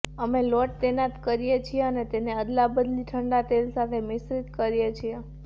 અમે લોટ તૈનાત કરીએ છીએ અને તેને અદલાબદલી ઠંડા તેલ સાથે મિશ્રણ કરીએ છીએ